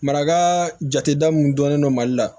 Maraka jate da mun dɔnnen don mali la